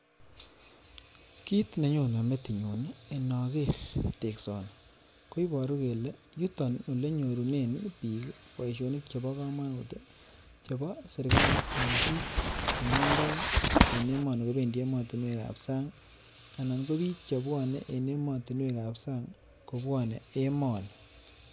Kit nenyone metinyun inoker teksoni koiboru kelee yuton ole nyorunen bik boishonik chebo komonut chebo serikali en bik che mondoi en emoni kobendi emotinwekab sang anan ko bik chebwone en emotinwekab sang kobwone emoni